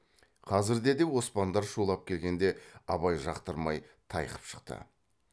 қазірде де оспандар шулап келгенде абай жақтырмай тайқып шықты